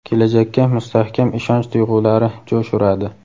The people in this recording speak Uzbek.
kelajakka mustahkam ishonch tuyg‘ulari jo‘sh uradi.